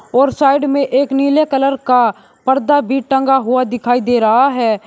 और साइड में एक नीले कलर का पर्दा भी टंगा हुआ दिखाई दे रहा है।